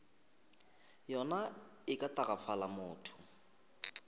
yona e ka tagafala motho